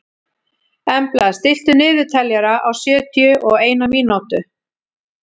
Embla, stilltu niðurteljara á sjötíu og eina mínútur.